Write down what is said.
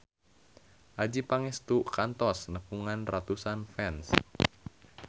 Adjie Pangestu kantos nepungan ratusan fans